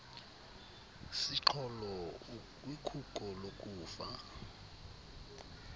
siqholo ukwikhuko lokufa